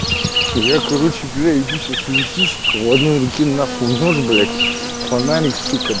я короче бля иду сейчас в лесу сука в одной руке нахуй нож блять фонарик сука